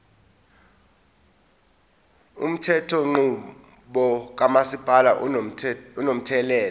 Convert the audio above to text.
umthethonqubo kamasipala unomthelela